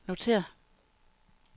notér